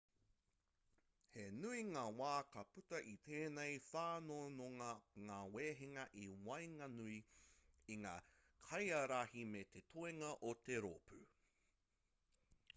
he nui ngā wā ka puta i tēnei whanonga ngā wehenga i waenganui i ngā kaiārahi me te toenga o te rōpū